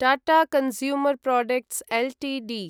Tata consumer products Ltd